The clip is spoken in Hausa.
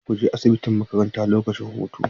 Kada ku je asibitin makaranta lokacin hutu.